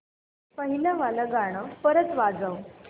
पहिलं वालं गाणं परत वाजव